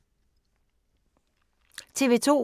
TV 2